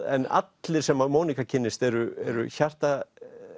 en allir sem að Monika kynnist eru eru